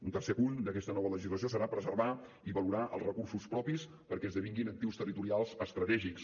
un tercer punt d’aquesta nova legislació serà preservar i valorar els recursos propis perquè esdevinguin actius territorials estratègics